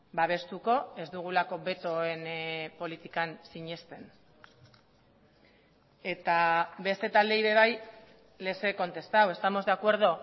babestuko ez dugulako betoen politikan sinesten eta beste taldeei ere bai les he contestado estamos de acuerdo